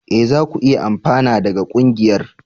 E! za ku iya amfana daga ƙungiyar.